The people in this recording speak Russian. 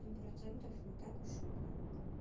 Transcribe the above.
ну и процентов не так уж и много